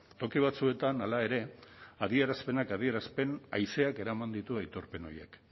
toki batzuetan hala ere adierazpenak adierazpen haizeak eraman ditu aitorpen horiek